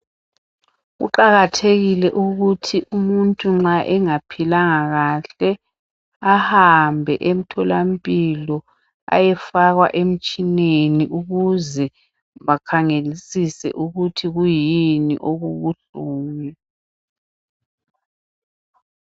Kuqakathekile ukuthi umuntu nxa engaphilanga kahle, ahambe emtholampilo ayefakwa emtshineni ukuze bakhangelisise ukuthi kuyini okubuhlungu.